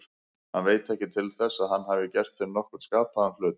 Hann veit ekki til þess að hann hafi gert þeim nokkurn skapaðan hlut.